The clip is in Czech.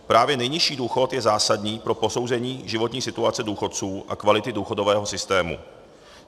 Právě nejnižší důchod je zásadní pro posouzení životní situace důchodců a kvality důchodového systému.